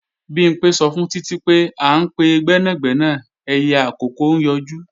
Bimpé sọ fún Títí pé, à ń pe gbẹ́nàgbẹ́nà ẹyẹ àkókó ń yọjú